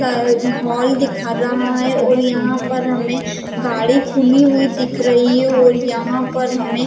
hall दिखा रहा है और यहाँ पर हमे गाड़ी खुली हुई दिख रही है और यहाँ पर हमे